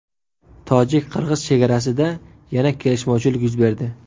Tojik-qirg‘iz chegarasida yana kelishmovchilik yuz berdi.